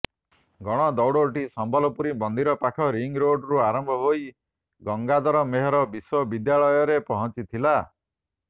ଗଣଦୌଡଟି ସମ୍ବଲେଶ୍ୱରୀ ମନ୍ଦିର ପାଖ ରିଙ୍ଗରୋଡରୁ ଆରମ୍ଭ ହୋଇ ଗଙ୍ଗାଧର ମେହେର ବିଶ୍ୱ ବିଦ୍ୟାଳୟରେ ପହଞ୍ଚିଥିଲା